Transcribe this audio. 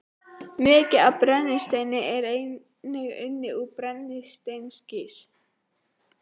Mikið af brennisteini er einnig unnið úr brennisteinskís.